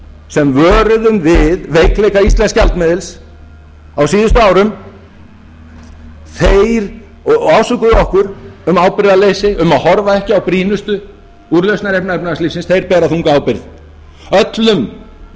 sem vöruðum við veikleika íslensks gjaldmiðils á síðustu árum og ásökuðu okkur um ábyrgðarleysi og að horfa ekki að brýnustu úrlausnarefni efnahagslífsins þeir bera þunga ábyrgð öllum hagspekingum